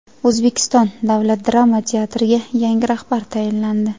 O‘zbekiston davlat drama teatriga yangi rahbar tayinlandi.